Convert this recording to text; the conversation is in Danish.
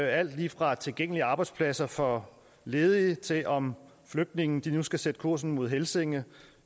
alt lige fra tilgængelige arbejdspladser for ledige til om flygtninge nu skal sætte kursen mod helsinge